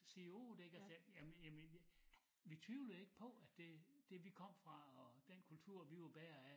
Sige 8 ikke altså jamen jamen vi vi tvivlede ikke på at det det vi kom fra og den kultur vi var bærere af